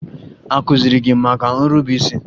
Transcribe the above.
A kụziri gị maka nrube isi?